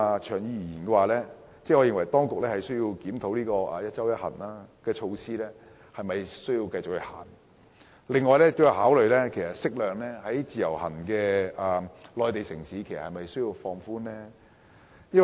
長遠而言，我認為當局須檢討"一周一行"的措施應否繼續推行，同時考慮應否適量開放至其他內地城市。